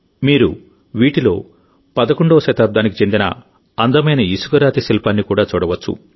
మీరు వీటిలో 11వ శతాబ్దానికి చెందిన అందమైన ఇసుకరాతి శిల్పాన్ని కూడా చూడవచ్చు